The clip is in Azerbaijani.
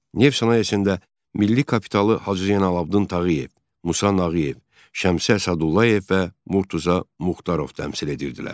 Neft sənayesində milli kapitalı Hacı Zeynalabdin Tağıyev, Musa Nağıyev, Şəmsi Əsədullayev və Murtuza Muxtarov təmsil edirdilər.